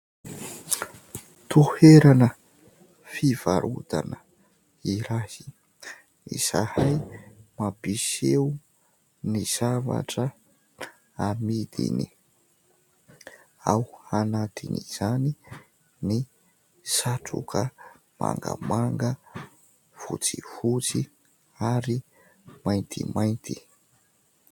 Toerana fivarotana iray izay mampiseho ny zavatra amidiny. Ao anatin'izany ny satroka mangamanga, fotsifotsy ary maintimainty.